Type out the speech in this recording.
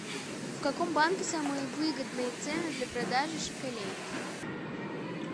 в каком банке самые выгодные цены для продажи шекелей